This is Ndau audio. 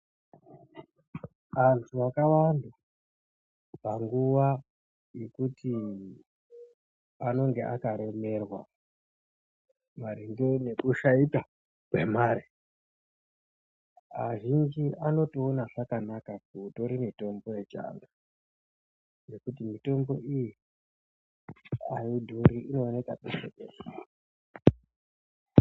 Antu akawanda panguwa yekuti anenge akaremerwa maringe ngekushaikwa kwemare, azhinji anotoona zvakanaka kutore mitombo yechiantu ngekuti mitombo iyi ayidhuri inooneka peshe peshe